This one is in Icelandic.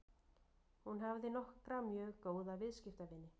Hún hafði nokkra mjög góða viðskiptavini.